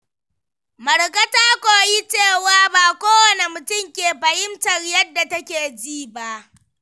Marka ta koyi cewa ba kowane mutum ke fahimtar yadda take ji ba.